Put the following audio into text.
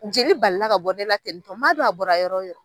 Jeli balila ka bɔ ne la tenintɔn n man dɔn a bɔra yɔrɔ min